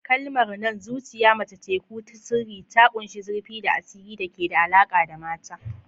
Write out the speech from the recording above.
Kalmar nan "Zuciyar mace teku ce ta sirri" ta ƙunshi zurfi da asiri da ke da alaƙa da mata.